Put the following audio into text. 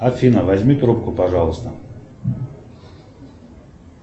афина возьми трубку пожалуйста